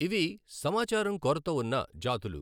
ఇవి సమాచారం కొరత ఉన్న జాతులు